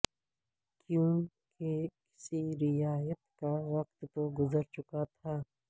کیونکہ کسی رعایت کا وقت تو گذر چکا تھا